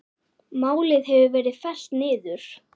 Málið hefur verið fellt niður.